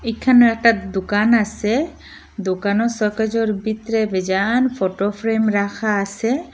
এখানে একটা দোকান আসে দোকানো শোকেজের ভিতরে ভেজান ফোটো ফ্রেম রাখা আসে।